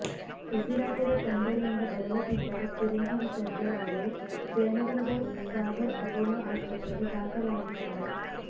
ಉಸಿರಾಟದ ತೊಂದರೆಯಿಂದ ಬಳಲುತ್ತಿದ್ದ ಚಿರಂಜೀವಿ ಸರ್ಜಾ ಅವರು ಜಯನಗರದ ಸಾಗರ್ ಅಪೊಲೋ ಆಸ್ಪತ್ರೆಗೆ ದಾಖಲಾಗಿದ್ದಾರೆ